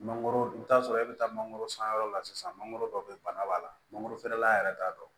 Mangoro i bɛ t'a sɔrɔ e bɛ taa mangoro san yɔrɔ la sisan mangoro dɔ bɛ yen bana b'a la mangorofeerela yɛrɛ t'a dɔn